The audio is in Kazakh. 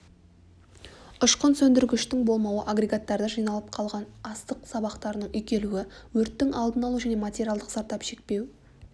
ұшқын сөндіргіштің болмауы агрегаттарда жиналып қалған астық сабақтарының үйкелуі өрттің алды-алу және материалдық зардап шекпеу